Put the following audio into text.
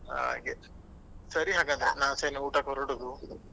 ಹಾಗೆ ಸರಿ ಹಾಗಾದ್ರೆ ನಾನ್ ಆಚೆ ಇನ್ನು ಊಟಕ್ಕೆ ಹೊರಡುದು.